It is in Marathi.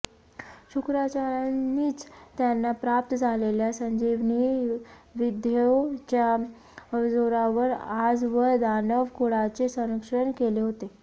शुक्राचार्यांनीच त्यांना प्राप्त झालेल्या संजिवनी विद्येच्या जोरावर आजवर दानव कुळाचे संरक्षण केले होते